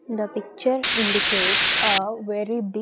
The picture indicates a very bi --